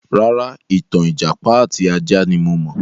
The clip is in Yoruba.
Rárá, ìtàn ìjàpá àti ajá ní mo mọ̀.